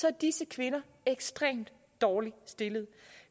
er disse kvinder ekstremt dårligt stillede